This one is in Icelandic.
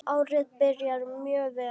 Árið byrjar mjög vel.